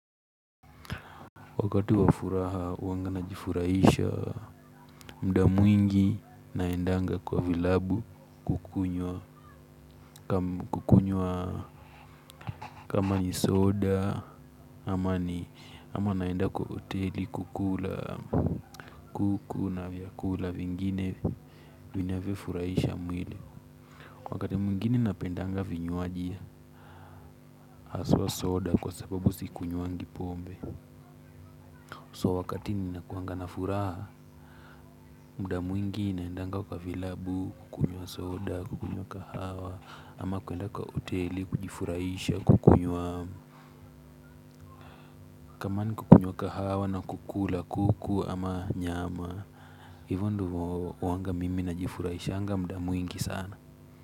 Wakati wa furaha huanga najifurahisha muda mwingi naendanga kwa vilabu kukunywa kama ni soda ama naenda kwa hoteli kukula kuku na vyakula vingine vinavyofurahisha mwili. Wakati mwingine napendanga vinywaji haswa soda kwa sababu sikunywangi pombe. So wakati ninakuanga na furaha, muda mwingi naendanga kwa vilabu kukunywa soda, kukunywa kahawa, ama kwenda kwa hoteli kujifurahisha, kukunywa kama ni kukunywa kahawa na kukula kuku ama nyama. Hivyo ndivyo huanga mimi najifurahishanga muda mwingi sana.